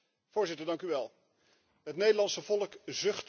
Het Nederlandse volk zucht onder belastingverhogingen.